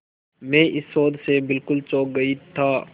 मैं इस शोध से बिल्कुल चौंक गई था